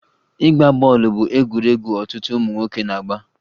Ịgba bọọlụ bụ egwuregwu ọtụtụ ụmụ nwoke na-agba